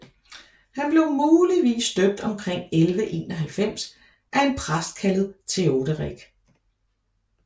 Han blev muligvis døbt omkring 1191 af en præst kaldet Theoderic